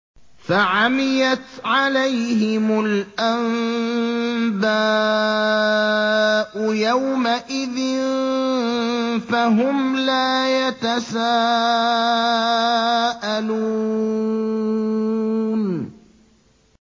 فَعَمِيَتْ عَلَيْهِمُ الْأَنبَاءُ يَوْمَئِذٍ فَهُمْ لَا يَتَسَاءَلُونَ